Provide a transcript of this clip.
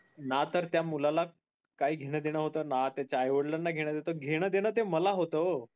ना तर त्या मुलाला काही देन घेण होत ना त्याच्या आई वडिलाना घेण देन होत घेण देन ते मला होत ओ